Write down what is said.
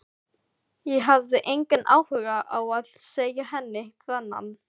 Ég hafði engan áhuga á að segja henni þennan.